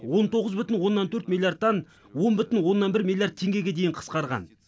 он тоғыз бүтін оннан төрт миллиаррдтан он бүтін оннан бір миллиард теңгеге дейін қысқарған